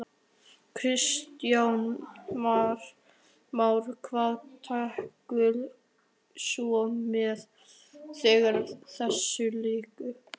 Kristján Már: Hvað tekur svo við þegar þessu lýkur?